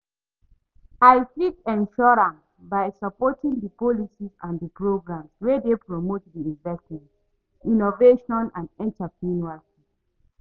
I fit ensure am by supporting di policies and di programs wey dey promote di investment, innovation and entrepreneurship.